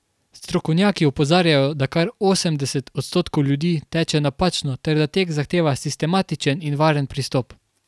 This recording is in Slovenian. Strokovnjaki opozarjajo, da kar osemdeset odstotkov ljudi teče napačno ter da tek zahteva sistematičen in varen pristop.